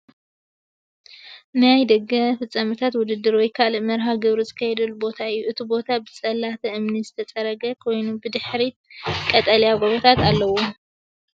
ናይ ደገ ፍጻመታት ውድድር ወይ ካልእ መርሃ ግብሪ ዝካየደሉ ቦታ እዩ። እቲ ቦታ ብጽላት እምኒ ዝተጸረገ ኮይኑ፡ ብድሕሪት ቀጠልያ ጎቦታት ኣለዎ።